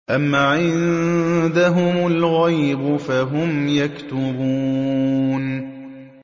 أَمْ عِندَهُمُ الْغَيْبُ فَهُمْ يَكْتُبُونَ